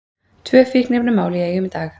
Tvö fíkniefnamál í Eyjum í dag